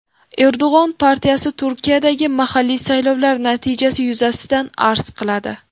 Erdo‘g‘on partiyasi Turkiyadagi mahalliy saylovlar natijasi yuzasidan arz qiladi.